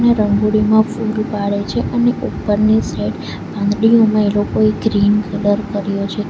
ત્યાં રંગોળીમાં ફુલ પાડે છે અને ઉપરની સાઈડ પાંદડીઓમાં એ લોકોએ ગ્રીન કલર કર્યો છે.